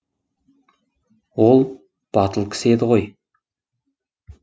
ол батыл кісі еді ғой